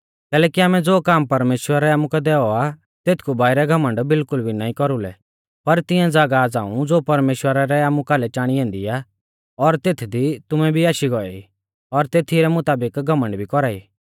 कैलैकि आमै ज़ो काम परमेश्‍वरै आमुकै दैऔ आ तेथकु बाइरै घमण्ड बिल्कुल भी नाईं कौरुलै पर तिऐं ज़ागाह झ़ांऊ ज़ो परमेश्‍वरा रै आमु कालै चाणी ऐन्दी आ और तेथदी तुमैं भी आशी गौऐ ई और तेथी रै मुताबिक घमण्ड भी कौरा ई